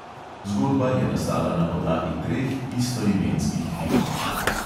Zgodba je nastala na podlagi treh istoimenskih filmov.